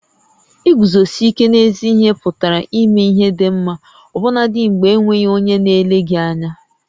Iguzosi íké n'ézí ihé pụtara ímé ihé dị ḿmá ọbụnadị mgbè e nweghị onyé na-ele gị ányá